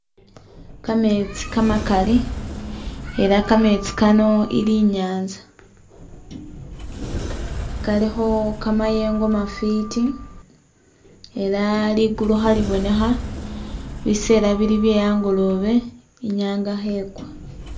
Kametsi kamakali elah kametsi Kano ili i'nyanza kalikho kamayengo mafwiti elah liggulu khalibonekha, bisela bili bye'angolobe inyanga khekwa